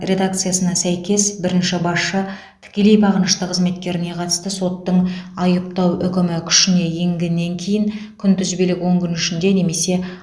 редакциясына сәйкес бірінші басшы тікелей бағынышты қызметкеріне қатысты соттың айыптау үкімі күшіне енгеннен кейін күнтізбелік он күн ішінде немесе